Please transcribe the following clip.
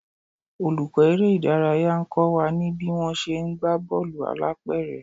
Olùkọ́ eré ìdárayá ń kọ́ wa ní bí wón ṣe ń gbá bọ́ọ̀lù alápẹ̀rẹ̀.